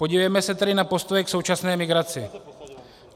Podívejme se tedy na postoje k současné migraci.